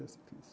E assim fiz.